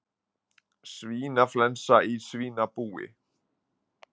Svínaflensa í svínabúi